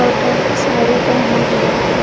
वो दोनों साड़ी पहना हुआ है।